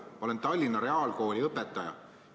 Ma olen Tallinna Reaalkooli õpetaja.